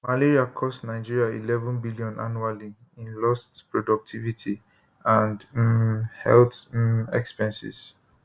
malaria cost nigeria eleven billion annually in lost productivity and um health um expenses